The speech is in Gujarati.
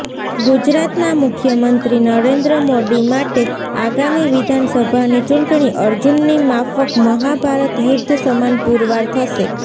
ગુજરાતના મુખ્યમંત્રી નરેન્દ્ર મોદી માટે આગામી વિધાનસભાની ચૂંટણી અર્જુનની માફક મહાભારત યુદ્ધ સમાન પુરવાર થશે